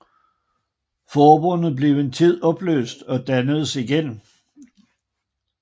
Forbundet blev en tid opløst og dannedes igen